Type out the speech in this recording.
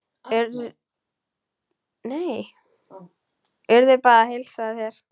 Urður bað að heilsa þér.